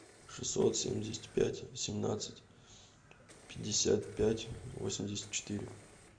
шестьсот семьдесят пять семнадцать пятьдесят пять восемьдесят четыре